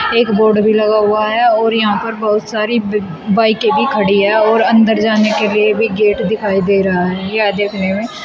एक बोर्ड भी लगा हुआ है और यहां पर बहुत सारी बाइके भी खड़ी है और अंदर जाने के लिए भी गेट दिखाई दे रहा है यह देखने में--